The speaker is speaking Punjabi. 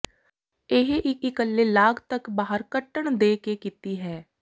ਇਹ ਇੱਕ ਇੱਕਲੇ ਲਾਗ ਤੱਕ ਬਾਹਰ ਕੱਟਣ ਦੇ ਕੇ ਕੀਤੀ ਹੈ